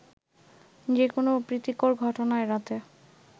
যেকোনো অপ্রীতিকর ঘটনা এড়াতে